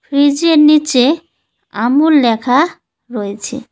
ফ্রিজের নীচে আমূল লেখা রয়েছে।